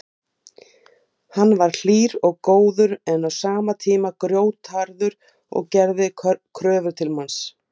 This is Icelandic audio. Við tókum ofboðslega margar umdeildar, lögfræðilega umdeildar ákvarðanir eftir hrunið sem hafa vakið athygli?